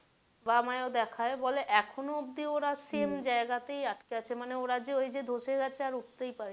বা আমায় ও দেখায় বলে এখনও অব্দি ওরা same জায়গা তেই আছে ওই যে ওরা ধসে যাচ্ছে আর উঠতেই পারেনি।